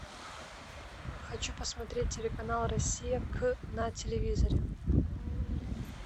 хочу посмотреть телеканал россия к на телевизоре